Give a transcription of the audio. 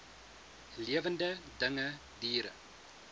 lewende dinge diere